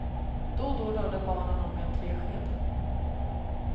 Då och då rörde barnen om med en träsked.